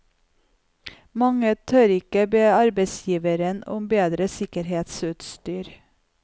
Mange tør ikke be arbeidsgiveren om bedre sikkerhetsutstyr.